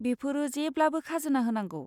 बेफोरो जेब्लाबो खाजोना होनांगौ।